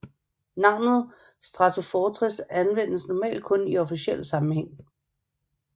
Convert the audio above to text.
Navnet Stratofortress anvendes normalt kun i officiel sammenhæng